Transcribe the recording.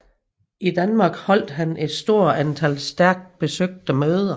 I Danmark holdt han et stort antal stærkt besøgte møder